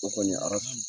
O kɔni a ka fus